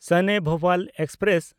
Shan-e-Bhopal express